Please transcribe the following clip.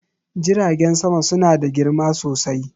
jiragen sama suna da girma sosai